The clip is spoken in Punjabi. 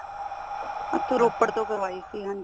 ਰੋਪੜ ਤੋਂ ਕਾਰਵਾਈ ਸੀ ਹਾਂਜੀ